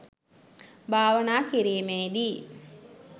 භාවනා කිරීමේ දී